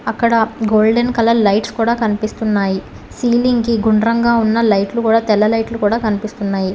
అక్కడ golden colour lights కూడా కనిపిస్తున్నాయి సీలింగ్ కి గుండ్రంగా ఉన్న లైట్లు కూడా తెల్ల లైట్లు కూడా కనిపిస్తున్నాయి.